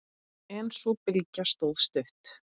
En sú bylgja stóð stutt.